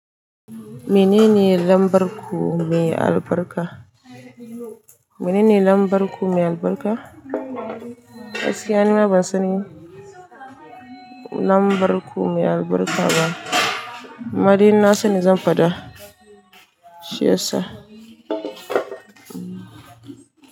Mene ne lambar ku mai albarka? Mene ne lambar ku mai albarka? Gassiya ni ma ban sani, lambar ku mai albarka ba. Amma dai in na sani zan faɗa, shi yasa.